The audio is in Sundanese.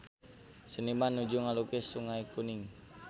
Seniman nuju ngalukis Sungai Kuning